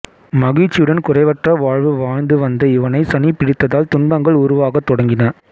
மகிழ்ச்சியுடன் குறைவற்ற வாழ்வு வாழ்ந்துவந்த இவனைச் சனி பிடித்ததால் துன்பங்கள் உருவாகத் தொடங்கின